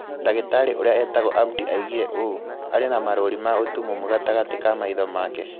Dagĩtari uria etagwo Abdi aigire ũũ: "Aarĩ na marũũri ma ũtumumu gatagatĩ ka maitho make".